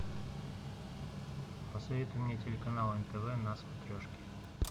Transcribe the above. посоветуй мне телеканал нтв на смотрешке